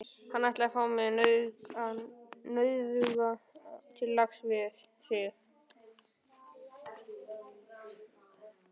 Hann ætlaði að fá mig, nauðuga, til lags við sig.